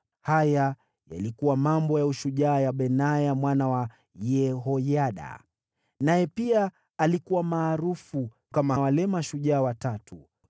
Haya yalikuwa mambo ya ushujaa ya Benaya mwana wa Yehoyada; naye pia alikuwa maarufu kama wale mashujaa watatu.